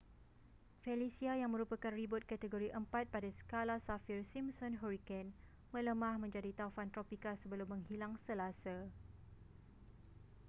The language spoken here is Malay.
felicia yang merupakan ribut kategori 4 pada skala saffir-simpson hurricane melemah menjadi taufan tropika sebelum menghilang selasa